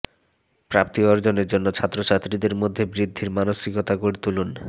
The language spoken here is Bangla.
প্রাপ্তি অর্জনের জন্য ছাত্রছাত্রীদের মধ্যে বৃদ্ধির মানসিকতা গড়ে তুলুন